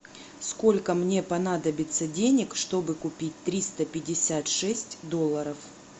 сколько мне понадобится денег чтобы купить триста пятьдесят шесть долларов